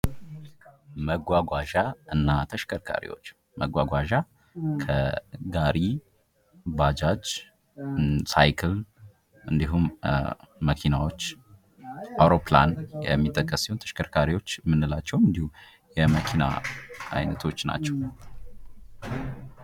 መጓጓዣ እና ተሾከርካሪዎች:- መጓጓዣ ከጋሪ፣ ባጃጅ፣ ሳይክል እንዲሁም መኪናዎች አዉሮፕላንም የሚጠቀስ ሲሆን ተሽከርካሪዎች የምንላቸዉም እንዲሁ የመኪና አይነቶች ናቸዉ።